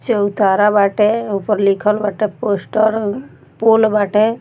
चौतारा बाटे ऊपर लिखल बाटे पोस्टर पोल बाटे |